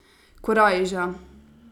Korajža.